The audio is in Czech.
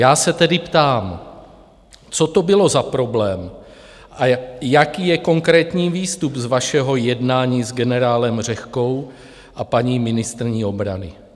Já se tedy ptám, co to bylo za problém a jaký je konkrétní výstup z vašeho jednání s generálem Řehkou a paní ministryní obrany.